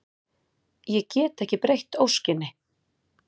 Ég get ekki breytt óskinni.